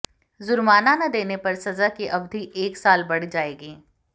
जुर्माना न देने पर सजा की अवधि एक साल बढ़ जाएगी